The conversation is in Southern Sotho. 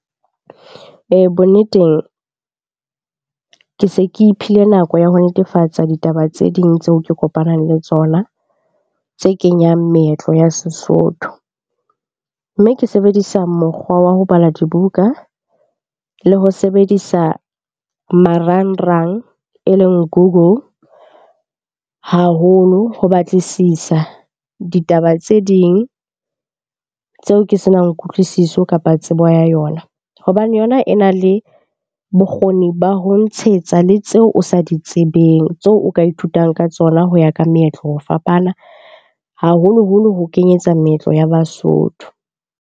Bonneteng ke se ke iphile nako ya ho netefatsa ditaba tse ding tseo ke kopanang le tsona tse kenyang meetlo ya Sesotho. Mme ke sebedisa mokgwa wa ho bala dibuka le ho sebedisa marangrang e leng Google haholo ho batlisisa ditaba tse ding tseo ke senang kutlwisiso kapa tsebo ya yona. Hobane yona e na le bokgoni ba ho ntshetsa le tseo o sa di tsebeng, tseo o ka ithutang ka tsona ho ya ka meetlo ho fapana haholoholo ho kenyetsa meetlo ya Basotho.